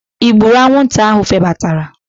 I gburu anwụnta ahụ febatara?